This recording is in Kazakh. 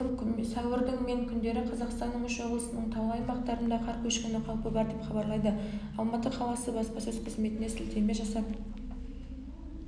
сәуірдің мен күндері қазақстанның үш облысының таулы аймақтарында қар көшкіні қаупі бар деп хабарлайды алматы қаласы баспасөз қызметіне сілтеме жасап